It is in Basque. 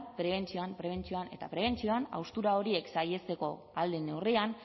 prebentzioan prebentzioan eta prebentzioan haustura horiek saihesteko ahal den neurrian